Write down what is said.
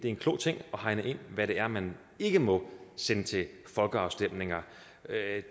en klog ting hvad det er man ikke må sende til folkeafstemninger